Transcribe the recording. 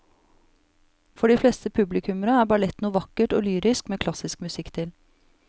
For de fleste publikummere er ballett noe vakkert og lyrisk med klassisk musikk til.